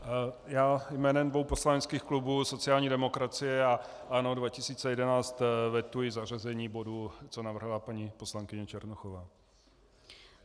Já jménem dvou poslaneckých klubů sociální demokracie a ANO 2011 vetuji zařazení bodu, co navrhla paní poslankyně Černochová.